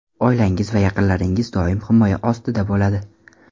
Oilangiz va yaqinlaringiz doim himoya ostida bo‘ladi.